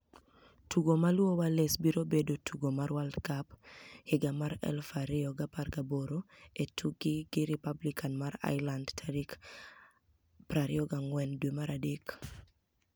Tugo ma luwo mar Wales biro bedo tugo mar World Cup 2018 e tukgi gi Republic ma Irelanid tarik 24 dwe mar adek.